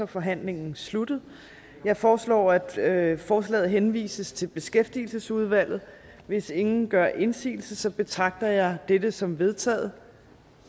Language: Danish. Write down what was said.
forhandlingen sluttet jeg foreslår at forslaget henvises til beskæftigelsesudvalget hvis ingen gør indsigelse betragter jeg dette som vedtaget